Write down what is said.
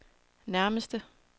nærmeste